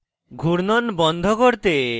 ঘূর্ণন বন্ধ করতে